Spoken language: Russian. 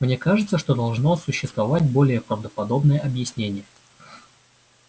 мне кажется что должно существовать более правдоподобное объяснение